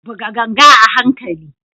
Buga ganga a hankali.